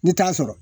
Ni t'a sɔrɔ